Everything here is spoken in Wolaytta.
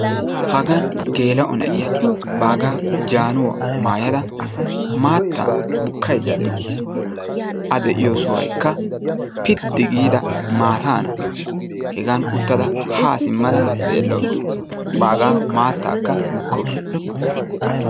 Hagaan gela'o na'iya bagga jaanuwa maayada maatta bukkayda de'awusu. A deiyo sohoykka pidi gida maatana. Hegaan uttada ha simmada xeelawusu; baggaa maattaka bukkawusu.